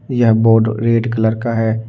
यह board red colour का है।